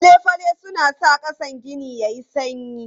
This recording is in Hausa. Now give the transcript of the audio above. Fale-fale suna sa ƙasan gini yayi sanyi.